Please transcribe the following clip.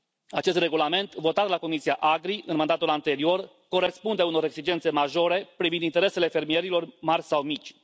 Acest regulament, votat la Comisia AGRI în mandatul anterior, corespunde unor exigențe majore privind interesele fermierilor mari sau mici.